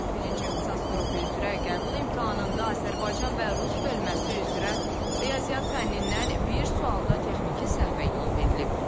Birinci ixtisas qrupu üzrə qəbul imtahanında Azərbaycan və rus bölməsi üzrə riyaziyyat fənnindən bir sualda texniki səhvə yol verilib.